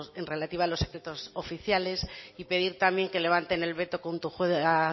relativa a los efectos oficiales y pedir también que levanten el veto junto a